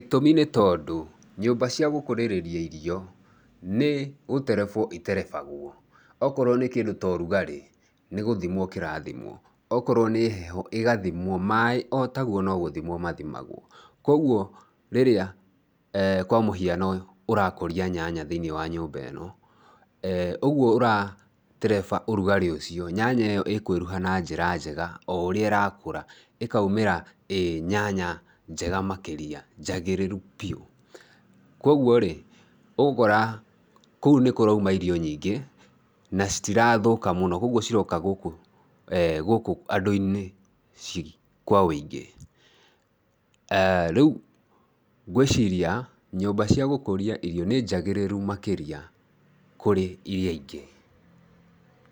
Gĩtũmi nĩ tondũ nyũmba cia gũkũrĩrĩria irio, nĩ gũterebwo iterebagwo, okorwo nĩ kĩndũ ta ũrugarĩ nĩ gũthimwo kĩrathimwo, o korwo nĩ heho, ĩgathimwo, maĩ o taguo no gũthimwo mathĩmagwo. Kwoguo rĩrĩa kwa mũhiano ũrakũria nyanya thĩ-inĩ wa nyũmba ĩno, ee, ũguo ũratereba ũrugarĩ ũcio, nyanya ĩo ĩkwĩruha na njĩra njega, o ũrĩa ĩrakũra ĩkaumĩra ĩ nyanya njega makĩria ngagĩrĩru piũ. Kwoguo-rĩ, ũgũkora kũu nĩ kũrauma irio nyĩngĩ na citirathũka mũno, kwoguo ciroka gũkũ andũ-inĩ kwa wũingĩ. Rĩu ngwiciria nyũmba cia gũkũria irio nĩ njagĩrĩru makĩria kũrĩ iria ingĩ.